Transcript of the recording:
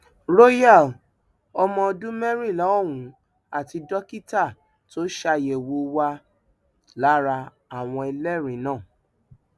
royal ọmọọdún mẹrìnlá ọhún àti dókítà tó ṣàyẹwò wà lára àwọn ẹlẹrìí náà